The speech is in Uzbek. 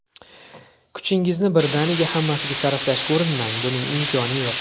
Kuchingizni birdaniga hammasiga sarflashga urinmang: buning imkoni yo‘q.